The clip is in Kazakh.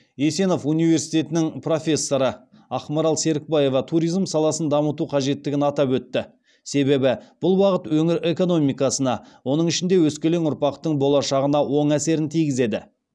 есенов университетінің профессоры ақмарал серікбаева туризм саласын дамыту қажеттігін атап өтті себебі бұл бағыт өңір экономикасына оның ішінде өскелең ұрпақтың болашағына оң әсерін тигізеді